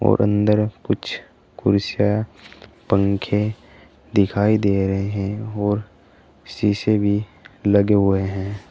और अंदर कुछ कुर्सियां पंखे दिखाई दे रहे हैं और शीशे भी लगे हुए हैं।